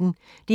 DR P1